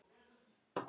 Sem er alveg magnað.